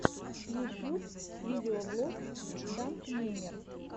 ютьюб видеоблог данкмемер